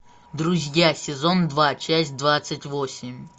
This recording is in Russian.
друзья сезон два часть двадцать восемь